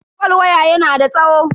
fol waya yana da tsawo.